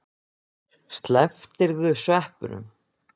Slepptirðu sveppunum?